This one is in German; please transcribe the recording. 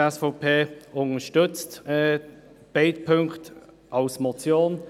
Die SVP unterstützt beide Punkte als Motion.